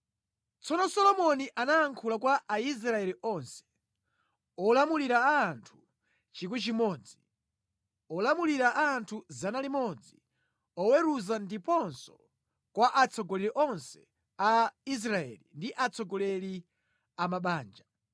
Tsono Solomoni anayankhula kwa Aisraeli onse, olamulira a anthu 1,000, olamulira a anthu 100, oweruza ndiponso kwa atsogoleri onse a Israeli ndi atsogoleri amabanja.